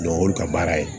o y'olu ka baara ye